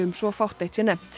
svo fátt eitt sé nefnt